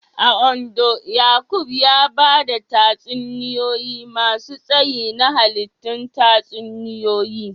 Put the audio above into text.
A Ondo, Yaqub ya ba da tatsuniyoyi masu tsayi na hallitun tatsuniyoyi